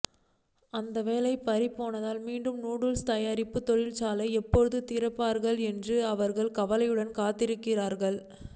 அந்த வேலை பறிபோனதால் மீண்டும் நூடுல்ஸ் தயாரிப்பு தொழிற்சாலையை எப்போது திறப்பார்கள் என்று அவர்கள் கவலையுடன் காத்திருக்கிறார்கள்